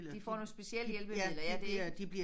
De får nogle specielle hjælpemidler ja det ikke